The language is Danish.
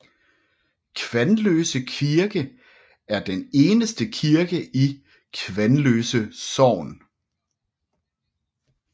Kvanløse Kirke er den eneste kirke i Kvanløse sogn